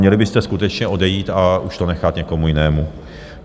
Měli byste skutečně odejít a už to nechat někomu jinému.